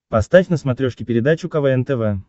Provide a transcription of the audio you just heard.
поставь на смотрешке передачу квн тв